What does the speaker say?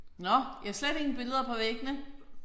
Nåh! I har slet ingen billeder på væggene?